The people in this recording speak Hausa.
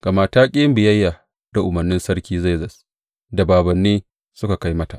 Gama ta ƙi yin biyayya da umarnin sarki Zerzes da bābānni suka kai mata?